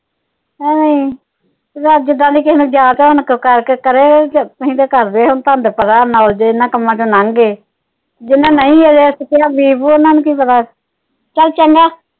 ਹਾਏ ਕਰਕੇ ਕਰੇ ਅਸੀਂ ਤਾ ਕਰਦੇ ਹੁਣ ਤੁਹਾਨੂੰ ਤਾ ਪਤਾ ਇਹਨਾਂ ਕੰਮਾਂ ਤੋਂ ਲੰਘ ਗਏ ਜਿੰਨਾ ਨੂੰ ਨਹੀਂ ਹਜੇ ਬੀ ਬੂ ਉਹਨਾਂ ਨੂੰ ਕੀ ਪਤਾ, ਚੱਲ ਚੰਗਾ।